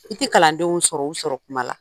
I te kalandenw sɔrɔ u sɔrɔ kuma la.